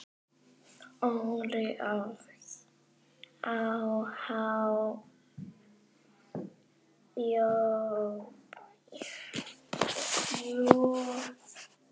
Óli á há joð?